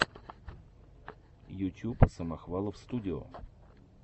ютюб самохвалов студио